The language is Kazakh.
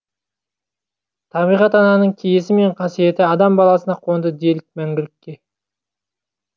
табиғат ананың киесі мен қасиеті адам баласына қонды делік мәңгілікке